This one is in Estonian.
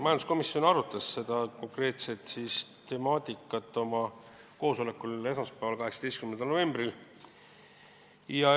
Majanduskomisjon arutas seda konkreetset temaatikat oma koosolekul esmaspäeval, 18. novembril.